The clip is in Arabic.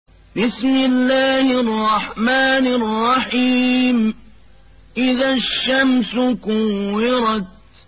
إِذَا الشَّمْسُ كُوِّرَتْ